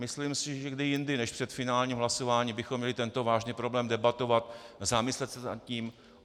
Myslím si, že kdy jindy než před finálním hlasováním bychom měli tento vážný problém debatovat, zamyslet se nad tím.